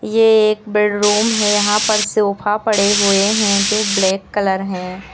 ये एक बेडरूम है यहां पर सोफा पड़े हुए हैं जो ब्लैक कलर है।